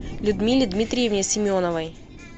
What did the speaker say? людмиле дмитриевне семеновой